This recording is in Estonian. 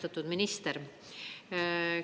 Austatud minister!